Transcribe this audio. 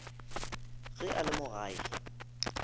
ge a le mo gae